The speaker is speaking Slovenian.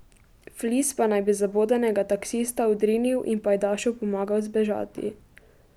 Flis pa naj bi zabodenega taksista odrinil in pajdašu pomagal zbežati.